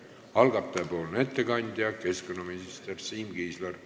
Algataja nimel teeb ettekande keskkonnaminister Siim Kiisler.